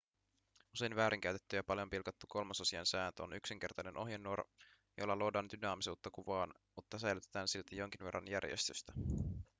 usein väärinkäytetty ja paljon pilkattu kolmasosien sääntö on yksinkertainen ohjenuora jolla luodaan dynaamisuutta kuvaan mutta säilytetään silti jonkin verran järjestystä